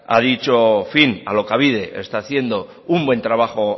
a dicho fin alokabide está haciendo un buen trabajo